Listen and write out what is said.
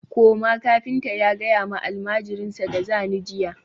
koma! kafinta ya gaya ma almajirinsa da zani jiya